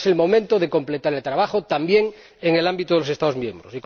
Ahora es el momento de completar el trabajo, también en el ámbito de los Estados miembros.